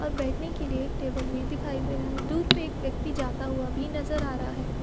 और बैठेने के लिये एक टेबल भी दिखाई दे रहा है दूर पे एक व्यक्ति जाता हुआ भी नजर आ रहा है।